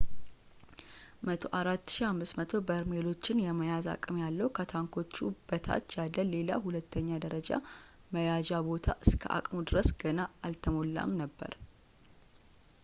104,500 በርሜሎችን የመያዝ አቅም ያለው ከታንኮቹ በታች ያለ ሌላ ሁለተኛ ደረጃ መያዣ ቦታ እስከ አቅሙ ድረስ ገና አልተሞላም ነበር